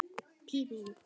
Takk, Pétur minn.